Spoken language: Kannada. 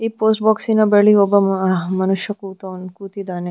ಈ ಪೋಸ್ಟ್ ಬೋಕ್ಸಿನ ಬಳಿ ಒಬ್ಬ ಮನುಷ್ಯ ಕುತೌನ್‌ ಕೂತಿದ್ದಾನೆ.